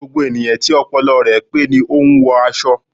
Gbogbo ènìyàn tí ọpọlọ rẹ pé ni o n wọ aṣọ